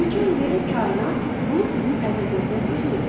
İmkan verin kainat bunu sizin əvəzinizə özü etsin.